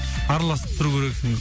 араласып тұру керексің